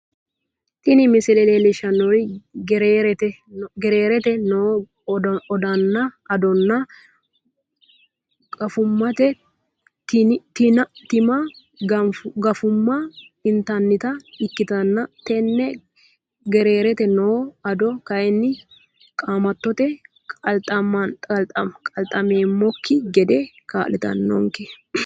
Tini misile leellishannorri gereerete no adonna gafummate tini gafumma intannita ikkitanna tini gereerete noo ado kayiinni qaamattote qalxammeemmokki gede kaa'litannonke.